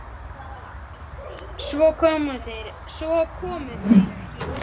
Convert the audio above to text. Svo komu þeir ekki.